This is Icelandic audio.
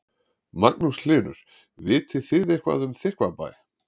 Magnús Hlynur: Vitið þið eitthvað um Þykkvabæ?